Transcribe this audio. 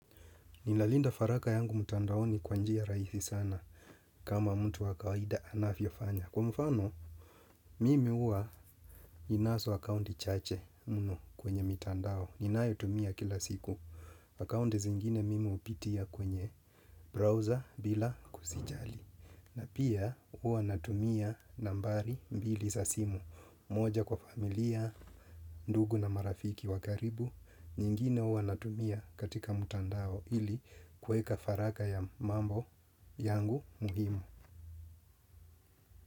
Ninalinda faraka yangu mtandaoni kwanjia rahisi sana kama mtu wakawaida anafiofanya. Kwa mfano, mimi uwa ninaso akaundi chache muno kwenye mitandao. Ninae utumia kila siku. Akaundi zingine mimi hupitia kwenye browser bila kusijali. Na pia uwa natumia nambari mbili za simu. Moja kwa familia, ndugu na marafiki wakaribu. Nyingine ua natumia katika mtandao ili kueka faraka ya mambo yangu muhimu.